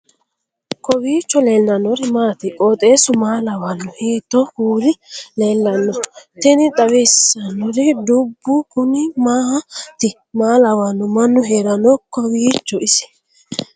kowiicho leellannori maati ? qooxeessu maa lawaanno ? hiitoo kuuli leellanno ? tini xawissannori dubbu kuni maati maa lawanno mannu heeranno kowiicho isi ?